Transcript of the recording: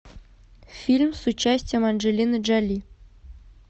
фильм с участием анджелины джоли